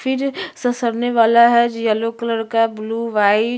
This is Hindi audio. फिर ससरने वाला है जो येलो कलर का है ब्लू वाइट --